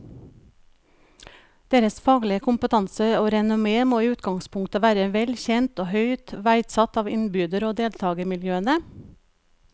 Deres faglige kompetanse og renommé må i utgangspunktet være vel kjent og høyt verdsatt av innbyder og deltagermiljøene.